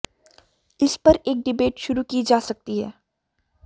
इस पर एक डिबेट शुरू की जा सकती है